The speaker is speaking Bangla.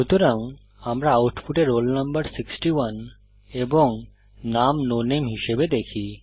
সুতরাং আমরা আউটপুটে রোল নম্বর 61 এবং নাম নো নামে হিসাবে দেখি